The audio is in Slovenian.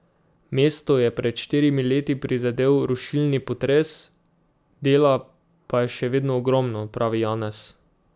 Mesto je pred štirimi leti prizadel rušilni potres, dela pa je še vedno ogromno, pravi Janez.